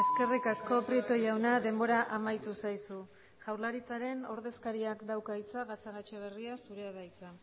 eskerrik asko prieto jauna denbora amaitu zaizu jaurlaritzaren ordezkariak dauka hitza gatzagaetxebarria zurea da hitza